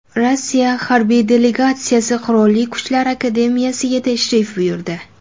Rossiya harbiy delegatsiyasi Qurolli Kuchlar akademiyasiga tashrif buyurdi .